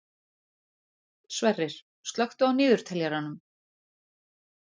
Sverrir, slökktu á niðurteljaranum.